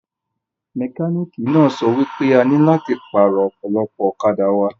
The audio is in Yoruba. Mẹkálíkì náà sọ wípé a nílò láti pàrọ̀ ọpọlọ ọ̀kadà wa